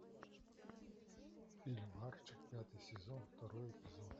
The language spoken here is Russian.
фильм арчи пятый сезон второй эпизод